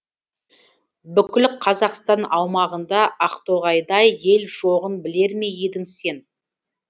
бүкіл қазақстан аумағында ақтоғайдай ел жоғын білер ме едің сен